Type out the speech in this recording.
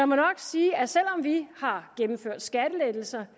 må nok sige at selv om vi har gennemført skattelettelser